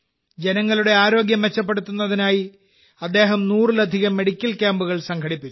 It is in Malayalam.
ജനങ്ങളുടെ ആരോഗ്യം മെച്ചപ്പെടുത്തുന്നതിനായി അദ്ദേഹം നൂറിലധികം മെഡിക്കൽ ക്യാമ്പുകൾ സംഘടിപ്പിച്ചു